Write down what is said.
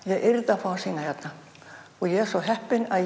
yrði að fá að sýna hérna og ég er svo heppin að